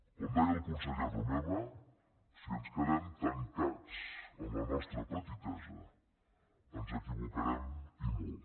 com deia el conseller romeva si ens quedem tancats en la nostra petitesa ens equivocarem i molt